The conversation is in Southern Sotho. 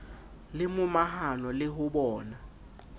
le momahano le ho bona